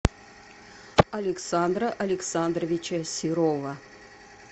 александра александровича серова